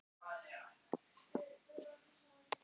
Oftast er það til lýta.